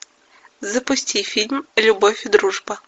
запусти фильм любовь и дружба